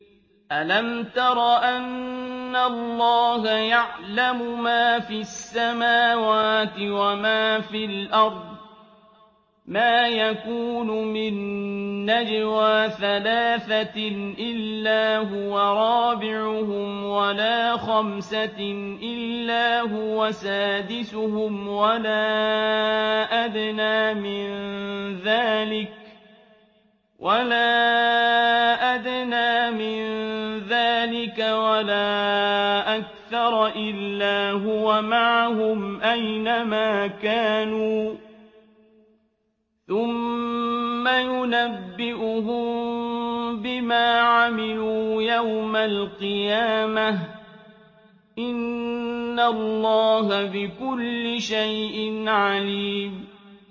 أَلَمْ تَرَ أَنَّ اللَّهَ يَعْلَمُ مَا فِي السَّمَاوَاتِ وَمَا فِي الْأَرْضِ ۖ مَا يَكُونُ مِن نَّجْوَىٰ ثَلَاثَةٍ إِلَّا هُوَ رَابِعُهُمْ وَلَا خَمْسَةٍ إِلَّا هُوَ سَادِسُهُمْ وَلَا أَدْنَىٰ مِن ذَٰلِكَ وَلَا أَكْثَرَ إِلَّا هُوَ مَعَهُمْ أَيْنَ مَا كَانُوا ۖ ثُمَّ يُنَبِّئُهُم بِمَا عَمِلُوا يَوْمَ الْقِيَامَةِ ۚ إِنَّ اللَّهَ بِكُلِّ شَيْءٍ عَلِيمٌ